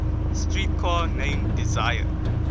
streetcar named desire